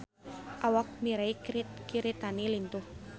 Awak Mirei Kiritani lintuh